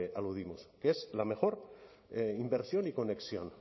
aludimos que es la mejor inversión y conexión